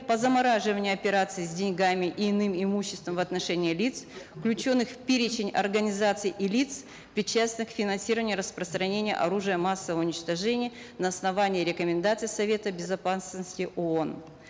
по замораживанию операций с деньгами и иным имуществом в отношении лиц включенных в перечень организаций и лиц причастных к финансированию и распространению оружия массового уничтожения на основании рекомендаций совета безопасности оон